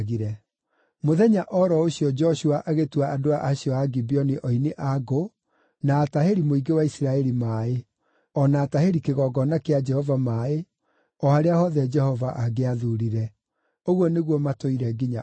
Mũthenya o ro ũcio Joshua agĩtua andũ acio a Gibeoni oini a ngũ na atahĩri mũingĩ wa Isiraeli maaĩ, o na atahĩri kĩgongona kĩa Jehova maaĩ o harĩa hothe Jehova angĩathuurire. Ũguo nĩguo matũire nginya ũmũthĩ.